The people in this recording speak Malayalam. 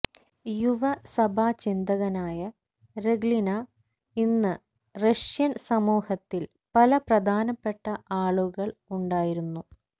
യുവ സഭാചിന്തകനായ രഖ്ലിന ഇന്ന് റഷ്യൻ സമൂഹത്തിൽ പല പ്രധാനപ്പെട്ട ആളുകൾ ഉണ്ടായിരുന്നു